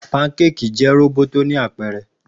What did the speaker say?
Pankéèkì jẹ roboto ni apẹrẹ.